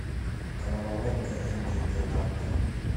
головоломка энди теннанта